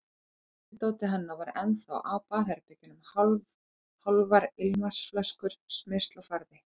Snyrtidótið hennar var ennþá á baðherbergjunum, hálfar ilmvatnsflöskur, smyrsl og farði.